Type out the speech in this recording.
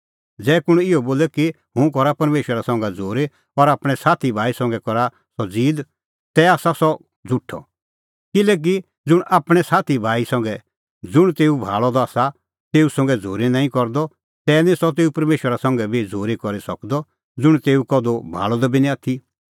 ज़ै कुंण इहअ बोले कि हुंह करा परमेशरा संघै झ़ूरी और आपणैं साथीभाई संघै करे सह ज़ीद तै आसा सह झ़ुठअ किल्हैकि ज़ुंण आपणैं साथीभाई संघै ज़ुंण तेऊ भाल़अ द आसा तेऊ संघै झ़ूरी नांईं करदअ तै निं सह तेऊ परमेशरा संघै बी झ़ूरी करी सकदअ ज़ुंण तेऊ कधू भाल़अ बी निं आथी